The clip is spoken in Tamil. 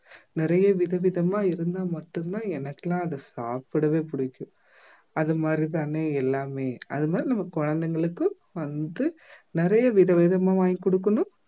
நிறைய விதவிதமா இருந்தா மட்டும்தான் எனக்கெல்லாம் அதை சாப்பிடவே பிடிக்கும் அது மாதிரி தானே எல்லாமே அது மாதிரி நம்ம குழந்தைங்களுக்கு வந்து நிறைய விதவிதமா வாங்கி கொடுக்கணும்